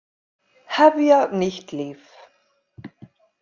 Hefja nýtt líf.